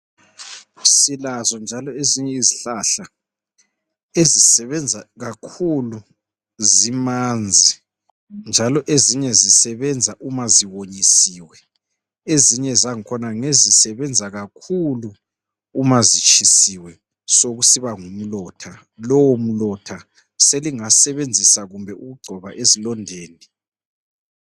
Silazo njalo ezinye izihlahla ezisebenza kakhulu zimanzi njalo ezinye zisebenza uma ziwonyisiwe. Ezinye zangikhona ngezisebenza kakhulu uma zitshisiwe sokusiba ngumlotha. Lowo mlotha selingasebenzisa kumbe ukugcoba ezilondeni